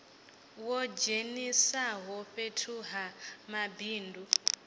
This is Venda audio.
wo dzheniswaho fhethu ha mabindu